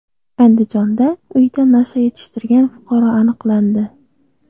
Andijonda uyida nasha yetishtirgan fuqaro aniqlandi.